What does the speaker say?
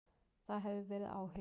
Það hefur verið áhugi.